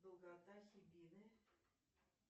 долгота хибины